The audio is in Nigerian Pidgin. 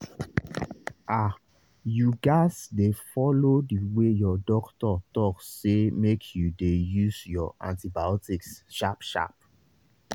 ahyou gats dey follow the way your doctor talk say make you dey use your antibiotics sharp sharp